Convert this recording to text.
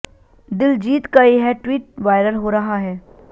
दिलजीत का यह tweet viral हो रहा है